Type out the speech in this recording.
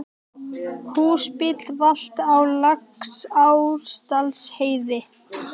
Húsbíll valt á Laxárdalsheiði